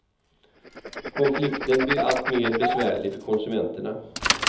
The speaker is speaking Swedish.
Konflikten blir alltmer besvärlig för konsumenterna.